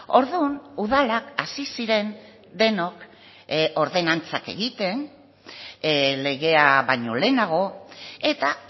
orduan udalak hasi ziren denok ordenantzak egiten legea baino lehenago eta